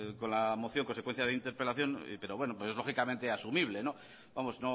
con la moción en consecuencia de interpelación pero bueno es lógicamente asumible vamos